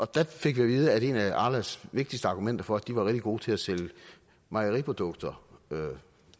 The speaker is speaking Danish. der fik at vide at en af arlas vigtigste argumenter for at de var rigtig gode til at sælge mejeriprodukter